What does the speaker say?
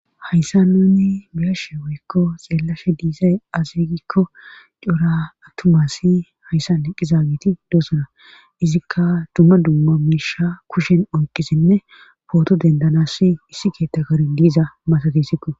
hayssa nuni biyashe woykko xeellashe diisay asigikko cora attumasi hayssan eqqizageti doosona izikka dumma dumma miisha kushen oyqisinne pooto dendanassi issi keetta kare diiza masatissikko